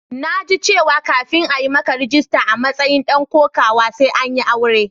Na ji cewa kafin a yi maka rajista a matsayin dan kokawa sai an yi aure.